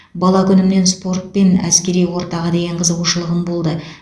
бала күнімнен спорт пен әскери ортаға деген қызығушылығым болды